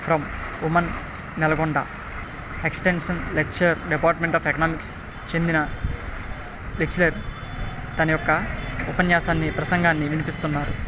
From women Nalgonda extension lecture department of economics చెందిన lecturer తన యొక్క ఉపన్యాసాన్ని ప్రెసింఘాని వినిపిస్తుంన్నారు .